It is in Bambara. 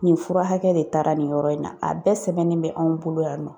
Nin fura hakɛ de taara nin yɔrɔ in na a bɛɛ sɛbɛnnen bɛ anw bolo yan nɔ